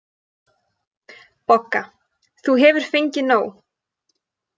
BOGGA: Þú hefur fengið nóg.